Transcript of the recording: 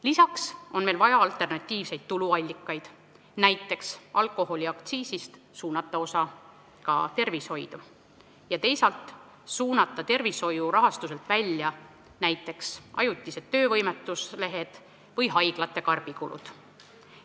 Lisaks on meil vaja alternatiivseid tuluallikaid, näiteks võiks alkoholiaktsiisist suunata osa tervishoidu ja teisalt suunata tervishoiu rahastuse alt välja näiteks ajutised töövõimetuslehed või haiglate karbikulud.